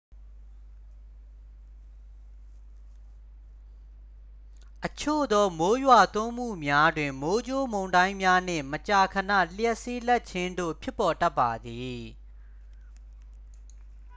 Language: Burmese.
အချို့သော မိုးရွာသွန်းမှုများတွင် မိုးကြိုးမုန်တိုင်းများနှင့် မကြာခဏ လျှပ်စီးလက်ခြင်းတို့ ဖြစ်ပေါ်တတ်ပါသည်